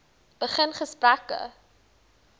begin gesprekke